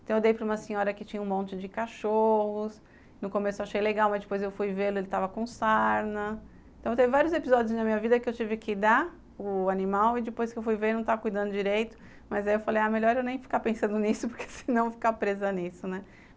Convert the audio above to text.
Então eu dei para uma senhora que tinha um monte de cachorros... No começo eu achei legal, mas depois eu fui vê-lo e ele estava com sarna... Então teve vários episódios na minha vida que eu tive que dar o animal e depois que eu fui ver ele não estava cuidando direito, mas aí eu falei, ah, melhor eu nem ficar pensando nisso porque se não eu vou ficar presa nisso, né?